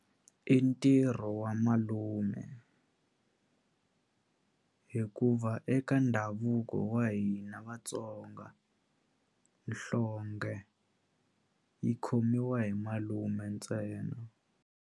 I ntirho wa malume hikuva eka ndhavuko wa hina Vatsonga nhlonghe yi khomiwa hi malume ntsena.